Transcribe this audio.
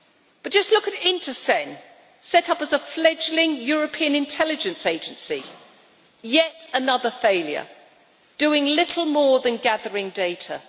But just look at INTCEN, set up as a fledgling European intelligence agency yet another failure, doing little more than gathering data.